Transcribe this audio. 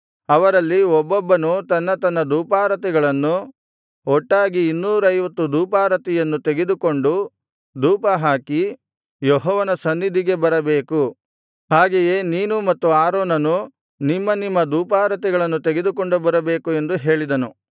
ಅವರಲ್ಲಿ ಒಬ್ಬೊಬ್ಬನು ತನ್ನ ತನ್ನ ಧೂಪಾರತಿಗಳನ್ನು ಒಟ್ಟಾಗಿ ಇನ್ನೂರೈವತ್ತು ಧೂಪಾರತಿಯನ್ನು ತೆಗೆದುಕೊಂಡು ಧೂಪಹಾಕಿ ಯೆಹೋವನ ಸನ್ನಿಧಿಗೆ ಬರಬೇಕು ಹಾಗೆಯೇ ನೀನು ಮತ್ತು ಆರೋನನು ನಿಮ್ಮ ನಿಮ್ಮ ಧೂಪಾರತಿಗಳನ್ನು ತೆಗೆದುಕೊಂಡು ಬರಬೇಕು ಎಂದು ಹೇಳಿದನು